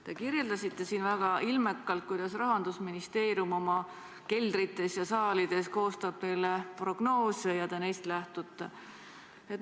Te kirjeldasite siin väga ilmekalt, kuidas Rahandusministeerium oma keldrites ja saalides koostab teile prognoose ja teie neist lähtute.